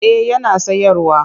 Eh yana sayarwa